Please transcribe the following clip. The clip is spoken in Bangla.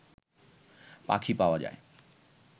পাখি পাওয়া যায়